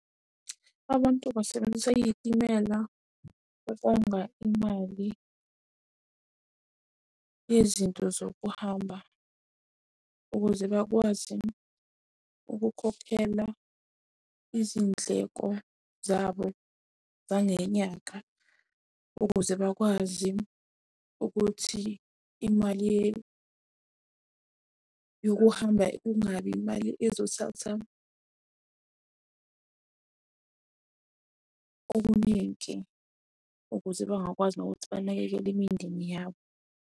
Abantu basebenzise iy'timela ukonga imali yezinto zokuhamba ukuze bakwazi ukukhokhela izindleko zabo zangenyanga, ukuze bakwazi ukuthi imali yokuhamba kungabi imali ezothatha okuningi ukuze bangakwazi nokuthi banakekele imindeni yabo.